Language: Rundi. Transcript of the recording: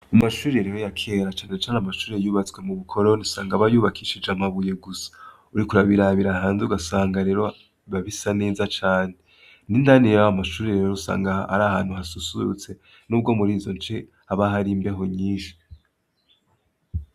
Mu mashuri rero ya kera cane cane amashure yubatswe mu bukoroni usanga aba yubakishije amabuye gusa, uriko urabirabira hanze ugasanga rero biba bisa neza cane, n'indani y'ayo mashure rero usanga ari ahantu hasusurutse n'ubwo muri ivyo bice haba hari imbeho nyinshi.